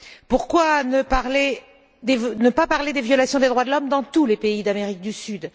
Pourquoi ne pas parler des violations des droits de l'homme dans tous les pays d'Amérique du Sud?